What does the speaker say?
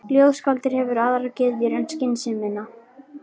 Ljóðskáldið hefur aðrar gyðjur en skynsemina.